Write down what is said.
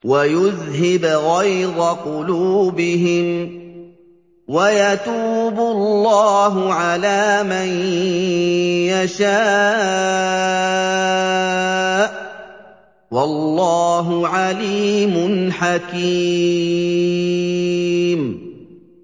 وَيُذْهِبْ غَيْظَ قُلُوبِهِمْ ۗ وَيَتُوبُ اللَّهُ عَلَىٰ مَن يَشَاءُ ۗ وَاللَّهُ عَلِيمٌ حَكِيمٌ